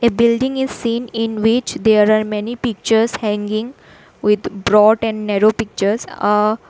Building is seen in which there are many pictures hanging with brought and narrow pictures ahh.